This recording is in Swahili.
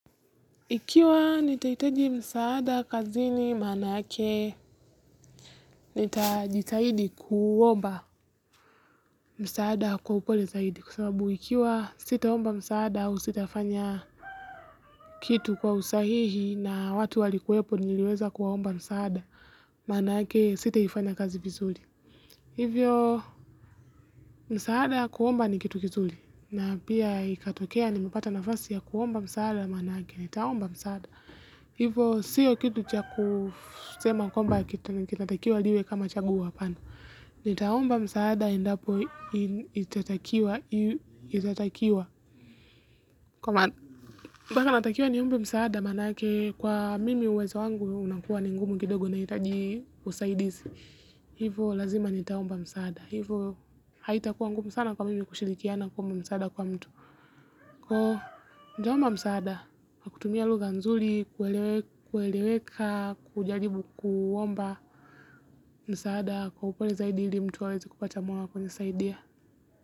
Ikiwa nitahitaji msaada kazini maana yake, nitajitahidi kuomba masaada kwa upole zaidi. Kwa sababu ikiwa sitaomba msaada, au sitafanya kitu kwa usahihi na watu walikuwepo niliweza kuwaomba msaada, manake sitaifanya kazi vizuri. Hivyo, msaada kuomba ni kitu kizuri. Na pia ikatokea nimepata nafasi ya kuomba msaada manake, nitaomba msaada. Hivo siyo kitu cha kusema kwamba kitatakiwa liwe kama chaguo hapana. Nitaomba msaada endapo itatakiwa niombe msaada manake kwa mimi uwezo wangu unakuwa ni ngumu kidogo nahitaji usaidizi. Hivo lazima nitaomba msaada. Hivo haitakuwa ngumu sana kwa mimi kushirikiana kuomba msaada kwa mtu. Kwaivo nitaomba msaada kwa kutumi a lugha nzuli, kueleweka, kujaribu kuomba, msaada, kwa upole zaidi ili mtu aweze kupata moyo wa kujisaidia.